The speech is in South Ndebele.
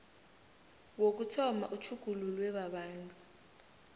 wokuthoma utjhugululwe babantu